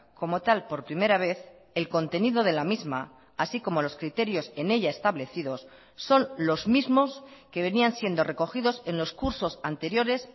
como tal por primera vez el contenido de la misma así como los criterios en ella establecidos son los mismos que venían siendo recogidos en los cursos anteriores